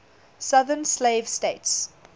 southern slave states